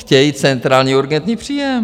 Chtějí centrální urgentní příjem.